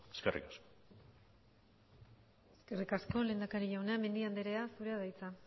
eskerrik asko eskerrik asko lehendakari jauna mendia andrea zurea da hitza